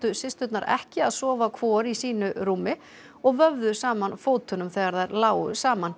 systurnar ekki að sofa hvor í sínu rúmi og vöfðu saman fótunum þegar þær lágu saman